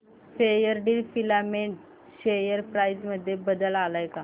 Fairdeal filament share price मध्ये बदल आलाय का